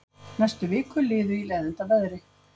Næstu vikur liðu í leiðindaveðri.